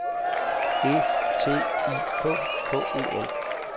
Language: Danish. E T I K K E N